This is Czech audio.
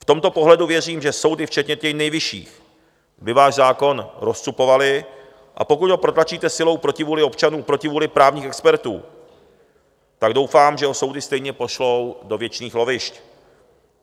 V tomto pohledu věřím, že soudy včetně těch nejvyšších by váš zákon rozcupovaly, a pokud ho protlačíte silou proti vůli občanů, proti vůli právních expertů, tak doufám, že ho soudy stejně pošlou do věčných lovišť.